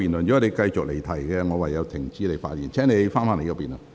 若你繼續離題，我會停止你的發言。